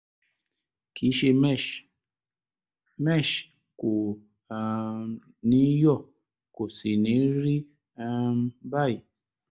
kìí ṣe mesh; mesh kò um ní yọ́ kò sì ní rí um báyìí